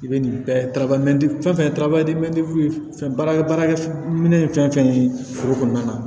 I bɛ nin bɛɛ fɛn fɛn baara baara kɛ minɛ ye fɛn fɛn ye foro kɔnɔna na